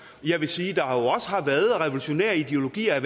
jeg vil sige at der også har været revolutionære ideologier